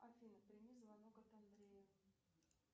афина прими звонок от андрея